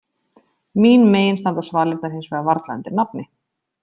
Mín megin standa svalirnar hins vegar varla undir nafni.